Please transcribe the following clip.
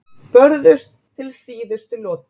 Börðust til síðustu holu